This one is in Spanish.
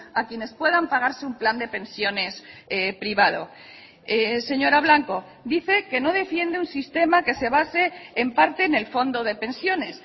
a quienes puedan pagarse un plan de pensiones privado señora blanco dice que no defiende un sistema que se base en parte en el fondo de pensiones